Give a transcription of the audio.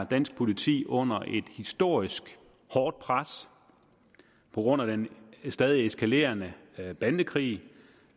dansk politi under et historisk hårdt pres på grund af den stadig eskalerende bandekrig